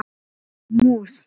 Hún er mús.